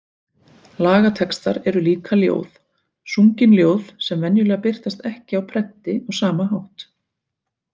Lagatextar eru líka ljóð, sungin ljóð sem venjulega birtast ekki á prenti á sama hátt.